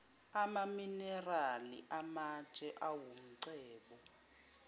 amaminerali amatshe awumcebo